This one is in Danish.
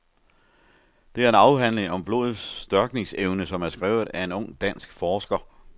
Det er en afhandling om blodets størkningsevne, som er skrevet af en ung dansk forsker.